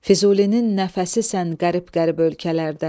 Füzulinin nəfəsisən qərib-qərib ölkələrdə.